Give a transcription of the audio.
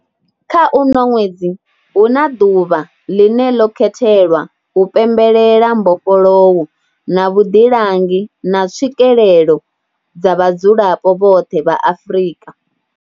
Kha uno ṅwedzi, huna ḓuvha ḽine ḽo khethelwa u pembelela mbofholowo na vhuḓilangi na tswikelelo dza vhadzulapo vhoṱhe vha Afrika.